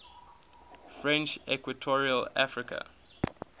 french equatorial africa